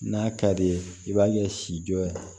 N'a ka di ye i b'a kɛ sijɔ ye